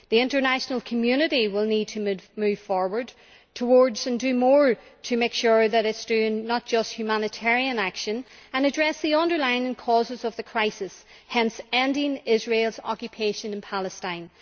The international community will need to move forward and do more, to make sure that it is doing more than just humanitarian action and to address the underlying causes of the crisis, hence ending Israel's occupation in Palestine.